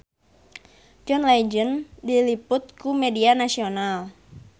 John Legend diliput ku media nasional